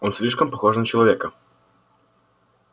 он слишком похож на человека